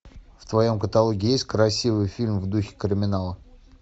в твоем каталоге есть красивый фильм в духе криминала